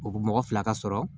O mɔgɔ fila ka sɔrɔ